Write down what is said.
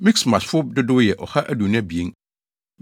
Mikmasfo dodow yɛ 2 122 1